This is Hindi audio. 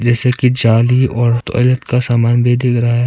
एसर की जाली और टॉयलेट का सामान भी दिख रहा है।